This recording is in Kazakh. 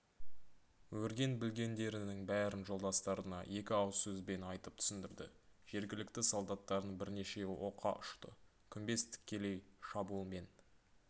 өрген-білгендерінің бәрін жолдастарына екі ауыз сөзбен айтып түсіндірді жергілікті солдаттардың бірнешеуі оққа ұшты күмбез тікелей шабуылмен